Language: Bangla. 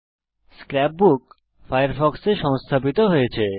স্ক্র্যাপ বুক ফায়ারফক্সে সংস্থাপিত হয়েছে